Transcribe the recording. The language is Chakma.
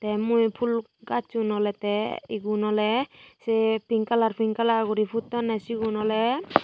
te mui fhul gaajjun oley tey igun oley sei pink kalar pink kalar guri puttonney sigun oley.